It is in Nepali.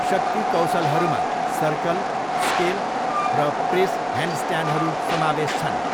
शक्ति कौशलहरूमा सर्कल, स्केल र प्रेस ह्यान्डस्ट्यान्डहरू समावेश छन्।